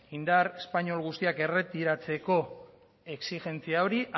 indar espainol guztia erretiratzeko exijentzia hori